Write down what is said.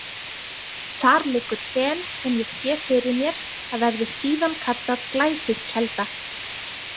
Þar liggur fen sem ég sé fyrir mér að verði síðan kallað Glæsiskelda.